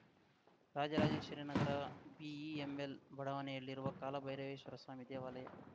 Rajarajeshwari Nagar BEML ಬಡಾವಣೆಯಲ್ಲಿರುವ ಕಾಲಭೈರವೇಶ್ವರಸ್ವಾಮಿ ದೇವಾಲಯ